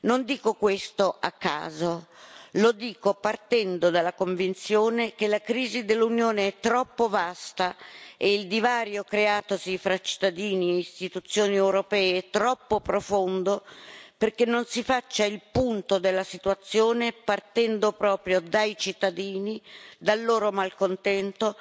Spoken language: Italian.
Non dico questo a caso, lo dico partendo dalla convinzione che la crisi dell'Unione è troppo vasta e il divario creatosi fra cittadini e istituzioni europee è troppo profondo perché non si faccia il punto della situazione partendo proprio dai cittadini, dal loro malcontento,